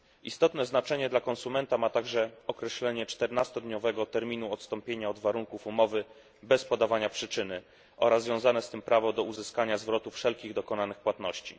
Istotne znaczenie dla konsumenta ma także określenie 14 dniowego terminu odstąpienia od warunków umowy bez podawania przyczyny oraz związane z tym prawo do uzyskania zwrotu wszelkich dokonanych płatności.